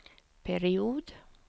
period